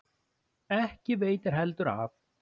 Ekki veitti heldur af.